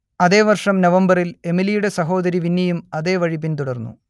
അതേ വർഷം നവംബറിൽ എമിലിയുടെ സഹോദരി വിന്നിയും അതേവഴി പിന്തുടർന്നു